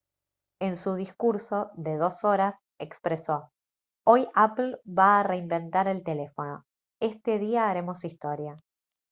en su discurso de dos horas expresó: «hoy apple va a reinventar el teléfono. este día haremos historia»